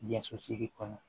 Jaso sigi kɔnɔ